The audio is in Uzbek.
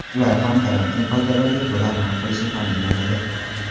Ular ham karantin qoidalariga to‘la amal qilishi ta’minlanadi.